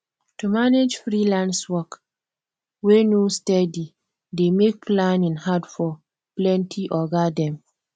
to manage freelance work wey no steady dey make planning hard for plenty oga dem